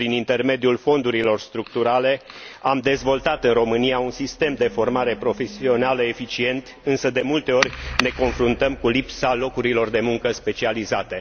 Prin intermediul fondurilor structurale, am dezvoltat în România un sistem de formare profesională eficient, însă, de multe ori, ne confruntăm cu lipsa locurilor de muncă specializate.